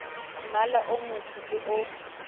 mmala o motsho le o